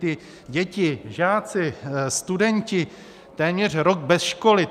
Ty děti, žáci, studenti, téměř rok bez školy.